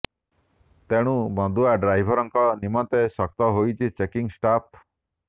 ତେଣୁ ମଦୁଆ ଡ୍ରାଇଭରଙ୍କ ନିମନ୍ତେ ଶକ୍ତ ହୋଇଛନ୍ତି ଚେକିଙ୍ଗ ଷ୍ଟାଫ